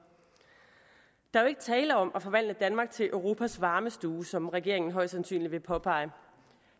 der er jo ikke tale om at forvandle danmark til europas varmestue som regeringen højst sandsynligt vil påpege her